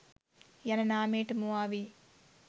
යන නාමයට මුවා වී